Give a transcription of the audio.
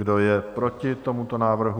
Kdo je proti tomuto návrhu?